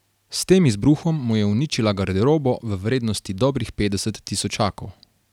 S tem izbruhom mu je uničila garderobo v vrednosti dobrih petdeset tisočakov.